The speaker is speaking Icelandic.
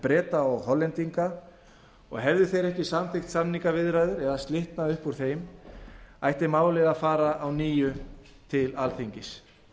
breta og hollendinga og hefðu þeir ekki samþykkt samningaviðræður eða slitnað upp úr þeim ætti málið að fara að nýju til alþingis